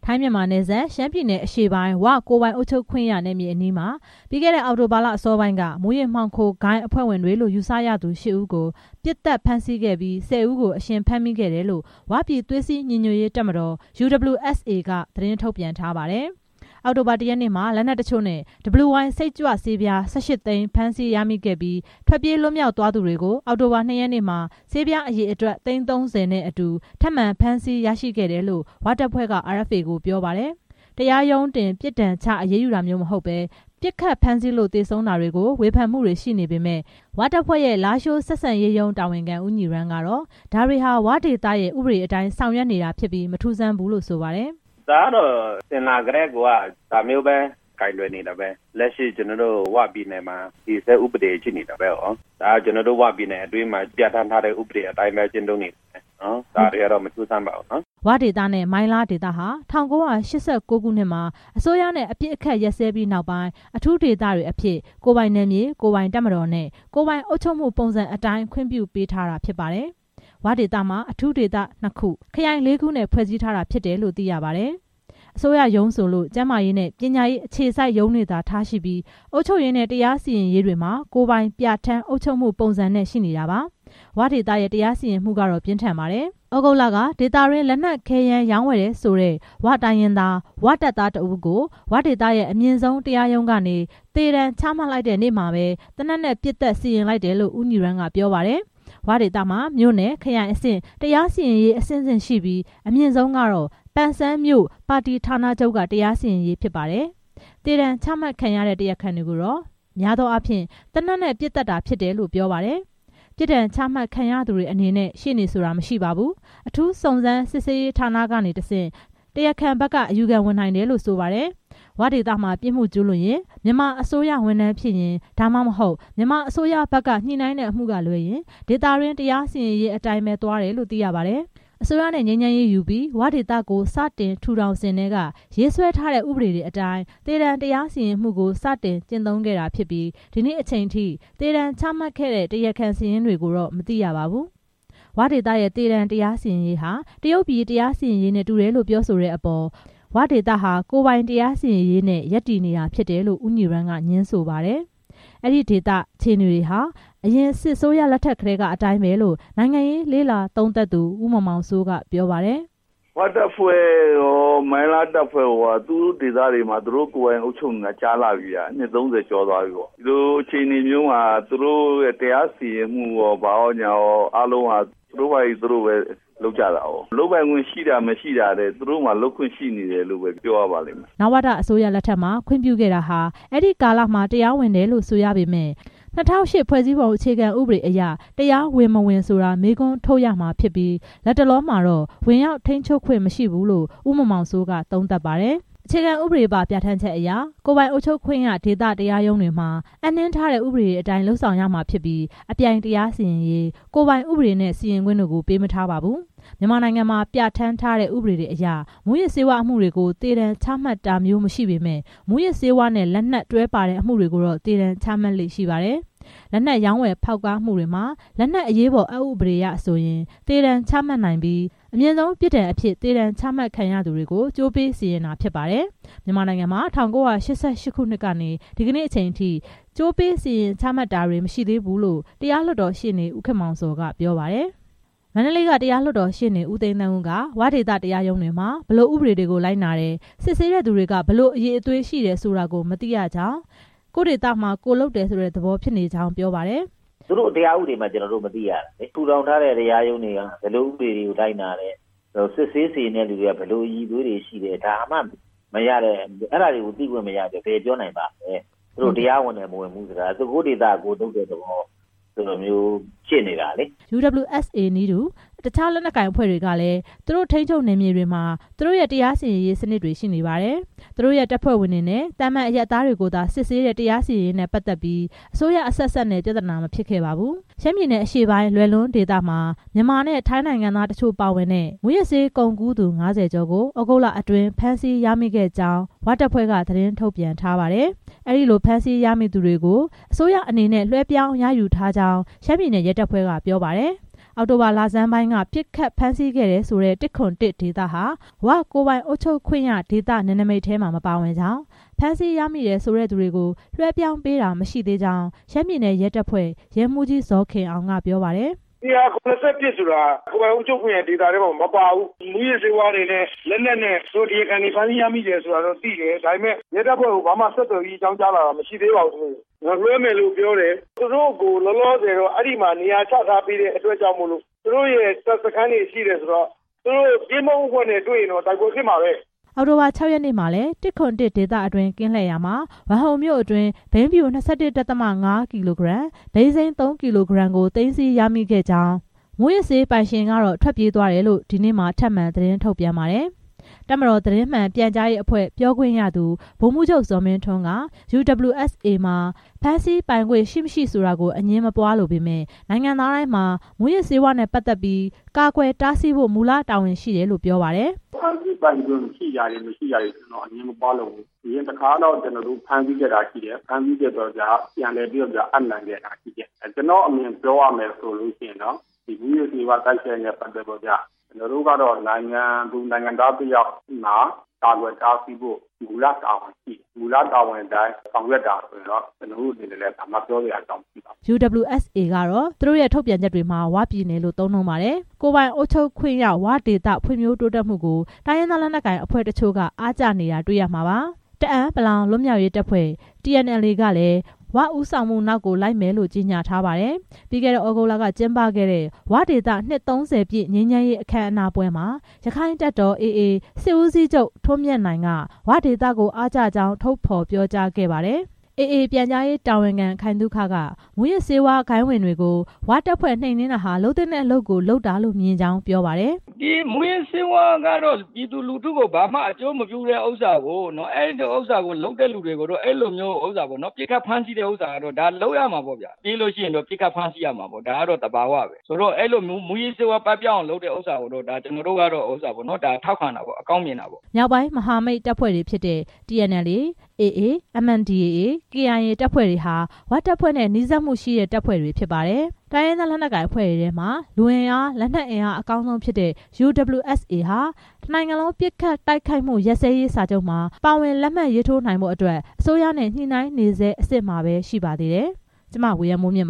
ိုင်းမြန်မာ နယ်စပ် ရှမ်းပြည်နယ်အရှေ့ပိုင်း ကိုယ်ပိုင်အုပ်ချုပ်ခွင့်ရ နယ်မြေအနီးမှာ ပြီးခဲ့တဲ့ အောက်တိုဘာလ အစောပိုင်းမှာ မူးယစ်မှောင်ခိုဂိုဏ်းအဖွဲ့ဝင်တွေလို့ ယူဆရသူ ရှစ်ဦးကို ပစ်သတ်ဖမ်းဆီးခဲ့ပြီးတော့ ၁၀ ယောက်ကို အရှင်ဖမ်းမိခဲ့တယ်လို့ ၀ ပြည်သွေးစည်းညီညွတ်ရေး တပ်မတော် UWSA က သတင်းထုတ်ပြန်ထားပါတယ်။ အောက်တိုဘာ ၁ ရက်နေ့မှာ လက်နက်တချို့နဲ့ WY စိတ်ကြွဆေးပြား ၁၈ သိန်းဖမ်းဆီးရရှိပြီး ထွက်ပြေး လွတ်မြောက်သွားသူတွေကို ၂ ရက်နေ့မှာ ဆေးပြားအရေအတွက် သိန်း ၃၀ နဲ့အတူ ထပ်မံဖမ်းဆီးရရှိခဲ့တယ်လို့ ၀ တပ်ဖွဲ့က RFA ကိုပြောပါတယ်။ တရားရုံးတင်ပြစ်ဒဏ်ချ အရေးယူတာမျိုး မဟုတ်ဘဲ၊ ပစ်ခတ်ဖမ်းဆီးလို့ သေဆုံးတာတွေကို ဝေဖန်မှုတွေရှိပေမယ့် ၀ တပ်ဖွဲ့ရဲ့ လားရှိုးဆက်ဆံရေးရုံး တာဝန်ခံ ဦးညီရမ်းကတော့ ဒါတွေဟာ ဝ ဒေသရဲ့ ဥပဒေအတိုင်း ဆောင်ရွက်နေ တာဖြစ်ပြီး မထူးဆန်းဘူးလို့ ဆိုပါတယ်။ "ဒါကတော့ အစဉ်အလာထဲကိုက ဒါမျိုးပဲကိုင်တွယ်နေတာပဲ၊ လက်ရှိ ဝပြည်နယ်မှာ တည်ဆဲဥပဒေရှိနေတာပဲ၊ ဒါက ကျနော်တို့ ဝ ပြည်မှာ ပြဌာန်းထားတဲ့ ဥပဒေအတိုင်း ကျင့်သုံးနေတဲ့ ဥပဒေအရ ကိုင်တွယ်နေတာပဲ၊ ဒါတွေက မထူးဆန်းပါဘူး" ဝ ဒေသနဲ့ မိုင်းလား ဒေသဟာ ၁၉၈၉ ခုနှစ်မှာ အစိုးရနဲ့ အပစ်အခတ် ရပ်စဲပြီးနောက်ပိုင်း အထူးဒေသတွေအဖြစ် ကိုယ်ပိုင်နယ်မြေ၊ ကိုယ်ပိုင် တပ်မတော်နဲ့ ကိုယ်ပိုင်အုပ်ချုပ်မှု ပုံစံအတိုင်း ခွင့်ပြုပေးထားတာဖြစ် ပါတယ်။ ဝဒေသမှာ အထူးဒေသ နှစ်ခု၊ ခရိုင်လေးခုနဲ့ ဖွဲ့စည်းထားတာဖြစ်တယ် လို့ သိရပါတယ်။ အစိုးရရုံးဆိုလို့ ကျန်းမာရေးနဲ့ ပညာရေးအခြေစိုက်ရုံးတွေသာထား ရှိပြီး အုပ်ချုပ်ရေး၊ တရားစီရင်ရေးတွေမှာ ကိုယ်ပိုင်ပြဋ္ဌာန်းအုပ်ချုပ်မှု ပုံစံနဲ့ရှိနေတာပါ။ ဝ ဒေသရဲ့ တရားစီရင်မှုကတော့ ပြင်းထန်ပါတယ်။ သြဂုတ်လက ဒေသအတွင်း လက်နက် ခဲယမ်းရောင်းဝယ်တယ်ဆိုတဲ့ ဝတိုင်းရင်းသား တပ်သားတစ်ဦးကို ဝဒေသ အမြင့်ဆုံးတရားရုံးကနေ သေဒဏ် ချမှတ်လိုက်တဲ့နေ့မှာပဲ သေနတ်နဲ့ ပစ်သတ်စီရင်လိုက်တယ်လို့ ဦးညီရမ်းက ပြောပါတယ်။ "ဝ" ဒေသမှာ မြို့နယ်၊ ခရိုင်အဆင့် တရားစီရင်ရေး အဆင့်ဆင့် ရှိပြီး အမြင့်ဆုံးကတော့ ပန်ဆန်းမြို့ ပါတီဌာနချုပ်က တရားစီ ရင်ရေးဖြစ်ပါတယ်။ ဒါကတော့ အစဉ်အလာထဲကိုက ဒါမျိုးပဲ ကိုင်တွယ်နေတာပဲ သေဒဏ်ချမှတ်ခံရတဲ့ တရားခံတွေကိုတော့ အများအားဖြင့် သေနတ်နဲ့ ပစ်သတ်တာဖြစ်တယ်လို့ ပြောပါတယ်။ ပြစ်ဒဏ်ချမှတ်ခံရသူတွေအနေနဲ့ ရှေ့နေဆိုတာမရှိပါဘူး။ အထူးစုံစမ်းစစ်ဆေးရေးဌာနကနေတဆင့် တရားခံဘက် က အယူခံဝင်နိုင်တယ်လို့ ဆိုပါတယ်။ "ဝ" ဒေသမှာ ပြစ်မှုကျူးလွန်ရင် မြန်မာအစိုးရဝန်ထမ်းဖြစ်ရင် ဒါမှမဟုတ် မြန်မာအစိုးရဘက်က ညှိနှိုင်းတဲ့အမှု ကလွဲရင် ဒေသတွင်းတရားစီရင်ရေးအတိုင်းပဲသွားတယ်လို့ သိရပါတယ်။ အစိုးရနဲ့ ငြိမ်းချမ်းရေးယူပြီး ဝဒေသကို စတင်ထူထောင်စဉ်ထဲက ရေးဆွဲထားတဲ့ ဥပဒေတွေအတိုင်း သေဒဏ် တရားစီရင်မှုကို စတင်ကျင့်သုံးလာတာဖြစ်ပြီး ဒီနေ့အချိန်ထိ သေဒဏ်ချမှတ်ခဲ့တဲ့ တရားခံတွေရဲ့ စာရင်းကိုတော့ မသိရပါဘူး။ ဝဒေသရဲ့ သေဒဏ် တရားစီရင်ရေးဟာ တရုတ်ပြည်တရားစီရင်ရေးနဲ့တူတယ်လို့ ပြောဆိုတဲ့အပေါ် ဝဒေသဟာ ကိုယ်ပိုင်တရားစီရင်ရေးနဲ့ ရပ်တည်နေတာဖြစ်တယ်လို့ ဦးညီရမ်းက ငြင်းဆိုပါတယ်။ အဲဒီဒေသ အခြေအနေတွေဟာ ယခင်စစ်အစိုးရလက်ထက်ကတည်းကအတိုင်းပဲလို့ နိုင်ငံရေးလေ့လာသုံးသပ်သူ ဦးမောင်မောင်စိုး က ပြောပါတယ်။ "ဝတပ်ဖွဲ့ရော မိုင်းလားတပ်ဖွဲ့ရော သူတို့ ကိုယ်ပိုင်အုပ်ချုပ်ခွင့်နေရာ မှာ အုပ်ချုပ်နေတာကြာလှပြီဗျ၊ နှစ် ၃၀ ကျော်သွားပြီပေါ့၊ ဒီလို အခြေအနေမျိုးမှာ သူတို့ရဲ့ တရားစီရင်မှုရော ဘာရော အားလုံးဟာ သူတို့ပဲ သူတို့ဘာသာ လုပ်ကြတာပဲ၊ လုပ်ပိုင်ခွင့်ရှိတာ မရှိတာထက် သူတို့မှာ လုပ်ခွင့်ရှိတယ်လို့ပဲ ပြောရပါလိမ့်မယ်" နဝတ အစိုးရလက်ထက်မှာ ခွင့်ပြုခဲ့တာဟာ အဲဒီကာလမှာ တရားဝင် တယ်လို့ဆိုရပေမယ့် ၂၀၀၈ ဖွဲ့စည်းပုံအခြေခံဥပဒေအရ တရားဝင် မဝင်က မေးခွန်းထုတ်ရမှာဖြစ်ပြီး လတ်တလောမှာတော့ ဝင်ရောက် ထိန်းချုပ်ခွင့်မရှိဘူးလို့ ဦးမောင်မောင်စိုးက သုံးသပ်ပါတယ်။ အခြေခံဥပဒေပါ ပြဋ္ဌာန်းချက်အရ ကိုယ်ပိုင်အုပ်ချုပ်ခွင့်ရဒေသ တရား ရုံးတွေမှာ အပ်နှင်းထားတဲ့ ဥပဒေအတိုင်း လုပ်ဆောင်ရမှာဖြစ်ပြီး အပြိုင်တရားစီရင်ရေး၊ ကိုယ်ပိုင်ဥပဒေနဲ့ စီရင်ခွင့်တို့ကို ပေးမထားပါဘူး။ မြန်မာနိုင်ငံမှာပြဌာန်းထားတဲ့ ဥပဒေတွေအရ မူးယစ်ဆေးဝါးအမှုတွေကို သေဒဏ်ချမှတ်တာမျိုး မရှိပေမယ့် မူးယစ်ဆေးဝါးနဲ့ လက်နက်တွဲပါတဲ့အမှုတွေကို သေဒဏ်ချမှတ်လေ့ရှိပါတယ်။ လက်နက်ရောင်းဝယ်ဖောက်ကားမှုတွေမှာ လက်နက်အရေးပေါ်အက်ဥပဒေအရဆိုရင် သေဒဏ်ချမှတ်နိုင်ပြီး အမြင့်ဆုံးပြစ်ဒဏ်အဖြစ် သေဒဏ်ချမှတ်ခံရသူတွေကို ကြိုးပေးစီရင်တာဖြစ်ပါတယ်။ မြန်မာနိုင်ငံမှာ ၁၉၈၈ ခုနှစ်ကနေ ဒီနေ့အချိန်ထိ ကြိုးပေးစီရင်ချမှတ်တာတွေ မရှိသေးဘူးလို့ တရား လွှတ်တော်ရှေ့နေ ဦးခင်မောင်ဇော်က ပြောပါတယ်။ မန္တလေးက တရားလွှတ်တော်ရှေ့နေ ဦးသိန်းသန်းဦးက ဝ ဒေသ တရားရုံးတွေမှာ ဘယ်လိုဥပဒေတွေကို လိုက်နာတယ်၊ စစ်ဆေးတဲ့သူတွေက ဘယ်လိုအရည်အသွေးရှိတယ်ဆိုတာ မသိရကြောင်း၊ ကိုယ့်ဒေသ ကိုယ်လုပ်တယ်ဆိုတဲ့သဘောဖြစ်နေကြောင်း ပြောပါတယ်။ "သူတို့ တရားဥပဒေမှ ကျနော်တို့ မသိရတာ၊ ထူထောင်ထားတဲ့ တရားရုံးတွေက ဘယ်လိုဥပဒေတွေကို လိုက်နာတယ်၊ စစ်ဆေးစီရင် တဲ့သူတွေက ဘယ်လိုအရည်အသွေးတွေရှိတယ် ဒါမှမသိရတာ၊ အဲဒါတွေကို သိခွင့်မရတော့ ဘယ်ပြောနိုင်ပါ့မလဲ၊ သူတို့တရား ဝင်တယ် မဝင်ဘူးဆိုတာ ကိုယ့်ဒေသကိုယ်လုပ်တယ်ဆိုတဲ့ သဘောဖြစ်နေတာ" UWSA နည်းတူ တခြားလက်နက်ကိုင်အဖွဲ့တွေကလည်း သူတို့ရဲ့ ထိန်းချုပ်နယ်မြေတွေမှာ သူတို့ရဲ့ တရားစီရင်ရေးစနစ် ရှိနေပါတယ်။ သူတို့ရဲ့ တပ်ဖွဲ့ဝင်တွေ၊ သာမန်အရပ်သားတွေကိုသာ စစ်ဆေးတဲ့ တရားစီရင်ရေးနဲ့ ပတ်သက်ပြီး အစိုးရအဆက်ဆက်နဲ့ ပြဿနာ မဖြစ်ခဲ့ပါဘူး။ UWSA က ရှမ်းပြည်နယ်အရှေ့ပိုင်း လွယ်လွန်းဒေသမှာ မြန်မာနဲ့ ထိုင်းနိုင်ငံသားတချို့ပါဝင်တဲ့ မူးယစ်ဆေး ကုန်ကူးသူ ၅၀ ကျော်ကို သြဂုတ်လအတွင်း ဖမ်းဆီးရမိခဲ့ကြောင်း သတင်းထုတ်ပြန်ထားပါတယ်။ အဲဒီဖမ်းဆီးရမိသူတွေကို လွှဲပြောင်းရယူထားကြောင်း ရှမ်းပြည်နယ် ရဲတပ်ဖွဲ့က ပြောပါတယ်။ အောက်တိုဘာ လဆန်းပိုင်း ပစ်ခတ်ဖမ်းဆီးခဲ့တယ်ဆိုတဲ့ ၁၇၁ ဒေသဟာ ဝ ကိုယ်ပိုင်အုပ်ချုပ်ခွင့်ရဒေသနယ်နမိတ်ထဲမှာ မပါဝင်ကြောင်း၊ ဖမ်းဆီးရမိတယ်ဆိုတဲ့သူတွေကို လွှဲပြောင်းပေးတာ မရှိသေးကြောင်း ရှမ်းပြည်နယ် ရဲတပ်ဖွဲ့ ရဲမှူးကြီး ဇော်ခင်အောင် က ပြောပါတယ်။ "၁၇၁ ဆိုတာ ကိုယ်ပိုင်အုပ်ချုပ်ခွင့်ရဒေသထဲမှာ မပါဘူး။ မူးယစ်ဆေးဝါးတွေနဲ့ လက်နက်နဲ့ သူတို့ တရားခံတွေ ဖမ်းဆီးရမိတယ်ဆိုတာတော့သိတယ်။ ရဲတပ်ဖွဲ့ကို ဘာမှ ဆက်သွယ်ပြီး အကြောင်းကြားလာတာ မရှိသေးပါဘူး။ လွှဲမယ်လို့တော့ ပြောတယ်။ သူတို့ကို လောလောဆယ် အဲမှာ နေရာချထားပေးတဲ့အတွက်ကြောင့် သူတို့ရဲ့ တပ်စခန်းတွေရှိတယ်ဆိုတော့၊ သူတို့ကင်းပုန်းအဖွဲ့နဲ့ တွေ့ရင်တော့ တိုက်ပွဲဖြစ်မှာပဲ" အောက်တိုဘာ ၆ ရက်နေ့မှာလည်း ၁၇၁ ဒေသအတွင်း ကင်းလှည့်ရာမှာ ဝမ်ဟုန်မြို့အတွင်း ဘိန်းဖြူ ၂၁ ဒသမ ၅ ကီလိုဂရမ်၊ ဘိန်းစိမ်း ၃ ကီလိုဂရမ် သိမ်းဆည်းရမိခဲ့တယ်၊ မူးယစ်ဆေးပိုင်ရှင်ကတော့ ထွက်ပြေးသွားတယ်လို့ ဒီနေ့မှာ ထပ်မံသတင်းထုတ်ပြန်ပါတယ်။ တပ်မတော် သတင်းမှန်ပြန်ကြားရေးအဖွဲ့ ပြောခွင့်ရသူ ဗိုလ်မှူးချုပ် ဇော်မင်းထွန်းက UWSA မှာ ဖမ်းဆီးပိုင်ခွင့် ရှိမရှိ ဆိုတာကို အငြင်းမပွားလိုပေမယ့် နိုင်ငံသားတိုင်းမှာ မူးယစ်ဆေးဝါးနဲ့ ပတ်သက်ပြီး ကာကွယ်တားဆီးဖို့ မူလတာဝန် ရှိတယ်လို့ ပြောပါတယ်။ "ဖမ်းဆီးပိုင်ခွင့်ရှိတာတွေ မရှိတာတွေ အငြင်းမပွားလိုပါဘူး။ အရင်တခါကတော့ ဖမ်းဆီးခဲ့တာတွေ ပြန်လည်အပ်နှံခဲ့တာရှိတယ်။ ကျနော့်အမြင်ပြောရမယ်ဆိုလို့ရှိရင် မူးယစ်ဆေးဝါး တိုက်ဖျက်ရေးနဲ့ ပတ်သက်ပြီးတော့ နိုင်ငံသူနိုင်ငံသားတစ်ယောက်မှာ ကာကွယ် တားဆီးဖို့ မူလတာဝန်ရှိတယ်။ မူလတာဝန်အတိုင်း ဆောင်ရွက်တာ ဆိုရင်တော့ ဘာမှပြောစရာမရှိပါဘူး" UWSA ကတော့ သူတို့ရဲ့ ထုတ်ပြန်ချက်တွေမှာ ဝပြည်နယ်လို့ သုံးနှုန်းပါတယ်။ ကိုယ်ပိုင်အုပ်ချုပ်ခွင့်ရ ဝ ဒေသ ဖွံဖြိုးတိုးတက်မှုကို တိုင်းရင်းသား လက်နက်ကိုင်အဖွဲ့တချို့ အားကျနေတာ တွေ့ရမှာပါ။ တအာင်းပလောင်လွတ်မြောက်ရေးတပ်ဖွဲ့ TNLA ကလည်း ဝ ဦးဆောင်မှုနောက်ကို လိုက်မယ်လို့ ကြေညာထားပါတယ်။ ပြီးခဲ့တဲ့ သြဂုတ်လကကျင်းပခဲ့တဲ့ ဝဒေသ နှစ် ၃၀ ပြည့် ငြိမ်းချမ်းရေးအခမ်းအနားပွဲမှာ ရက္ခိုင့်တပ်တော် AA စစ်ဦးစီးချုပ် ထွန်းမြတ်နိုင်က ဝဒေသကို အားကျကြောင်း ထုတ်ဖော်ပြောကြားခဲ့ပါတယ်။ AA ပြန်ကြားရေးတာဝန်ခံ ခိုင်သုခက မူးယစ်ဆေးဝါးဂိုဏ်းဝင်တွေကို ဝတပ်ဖွဲ့ နှိမ်နင်းတာဟာ လုပ်သင့်တဲ့အလုပ်ကို လုပ်တာလို့ မြင်ကြောင်း ပြောပါတယ်။ "မူးယစ်ဆေးဝါးကတော့ ပြည်သူလူထုကို ဘာမှအကျိုးမပြုတဲ့ ဥစ္စာကို လုပ်တဲ့သူတွေကို ပစ်ခတ်ဖမ်းဆီးတာကတော့ လုပ်ရ မှာပေါ့ဗျာ။ ပြေးရင် ပစ်ခတ်ဖမ်းဆီးရမှာပေါ့ ဒါကတော့ သဘာဝပဲ။ အဲဒီလို မူးယစ်ဆေးဝါး ပပျောက်အောင်လုပ်တဲ့ကိစ္စကို ကျနော်တို့ ထောက်ခံတာပေါ့ အကောင်းမြင်ပါတယ်" မြောက်ပိုင်းမဟာမိတ်လေးဖွဲ့ဖြစ်တဲ့ TNLA, AA, NMDAA, KIA တပ်ဖွဲ့တွေဟာ ဝ တပ်ဖွဲ့နဲ့ နီးစပ်မှုရှိတဲ့ တပ်ဖွဲ့တွေ ဖြစ်ပါတယ်။ တိုင်းရင်းသားလက်နက်ကိုင်အဖွဲ့တွေထဲမှာ လူအင်အား လက်နက် အင်အား အကောင်းဆုံးဖြစ်တဲ့ UWSA ဟာ တစ်နိုင်ငံလုံး ပစ်ခတ် တိုက်ခိုက်မှုရပ်စဲရေးစာချုပ်မှာ ပါဝင်လက်မှတ်ထိုးနိုင်ဖို့အတွက် အစိုးရနဲ့ ညှိနှိုင်းဆဲအဆင့်မှာပဲ ရှိပါသေးတယ်။ (RFA သတင်းထောက် မဝေယံမိုးမြင့်